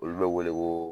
Olu bɛ wele ko